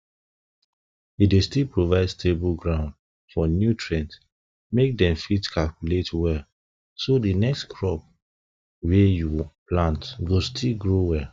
e dey still provide stable ground for nutrients make dem fit circulate well so di next crops wey you plant go still grow well